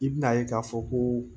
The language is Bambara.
I bina ye k'a fɔ ko